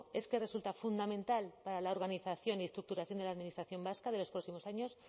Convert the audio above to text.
es que resulta fundamental para la organización y estructuración de la administración vasca de los próximos años